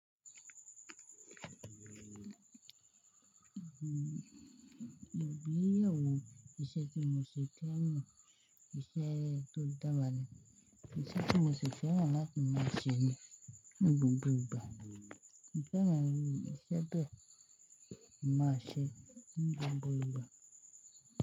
Iṣẹ́ tó dára ni, iṣẹ́ tí mo sì fẹ́ràn láti máa ṣe ni, ní gbogbo ìgbà, mo fẹ́ràn iṣẹ́ bẹ́ẹ̀ kin ma ṣe ní gbogbo ìgbà.